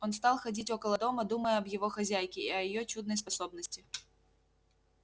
он стал ходить около дома думая об его хозяйке и о её чудной способности